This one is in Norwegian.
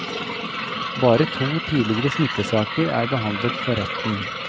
Bare to tidligere smittesaker er behandlet for retten.